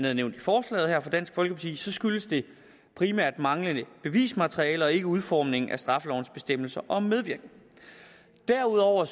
er nævnt i forslaget her fra dansk folkeparti skyldes det primært manglende bevismateriale og ikke udformningen af straffelovens bestemmelser om medvirken derudover